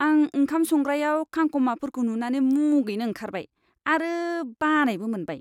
आं ओंखाम संग्रायाव कांक'माफोरखौ नुनानै मुगैनो ओंखारबाय आरो बानायबो मोनबाय।